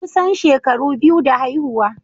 Kusan shekaru biyu da haihuwa.